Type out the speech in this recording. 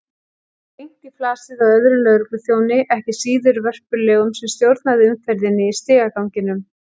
Gekk beint í flasið á öðrum lögregluþjóni, ekki síður vörpulegum, sem stjórnaði umferðinni í stigaganginum.